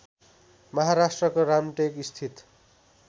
महाराष्ट्रको रामटेक स्थित